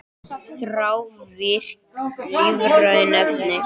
Þrávirk lífræn efni